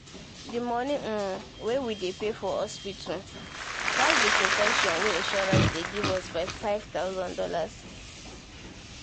the money um wey we dey pay for hospital, pass the protection wey insurance dey give us by five thousand dollars.